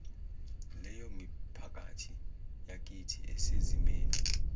leyomiphakathi yakithi esezimeni